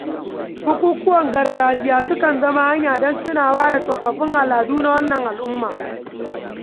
Bukukuwan gargajiya sukan zama hanya don tunawa da tsoffin al’adu na wannan al'umma.